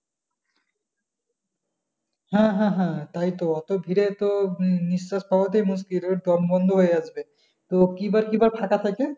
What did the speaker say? হ্যাঁ হ্যাঁ হ্যাঁ তাইতো অতো ভিড়ে তো নিস্বাস পাওয়া টাই মুশকিল দম বন্ধ হয়ে আসবে তো কী বার কী বার ফাঁকা থাকে?